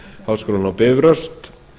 háskólann á bifröst